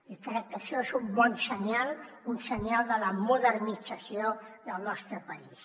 i crec que això és un bon senyal un senyal de la modernització del nostre país